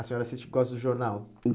A senhora assiste porque gosta do jornal?